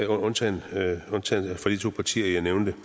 undtagen fra de to partier jeg nævnte